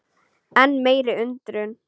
Enn meiri undrun